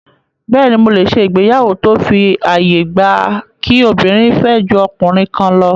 Bẹ́ẹ̀ni, mo lè ṣe ìgbéyàwó tó fi àyè gba kí obìnrin fẹ́ ju ọkùnrin kan lọ